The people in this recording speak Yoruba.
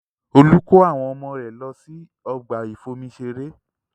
Olú kó àwọn ọmọ rẹ̀ lọ sí ọgbà ìfomi ṣeré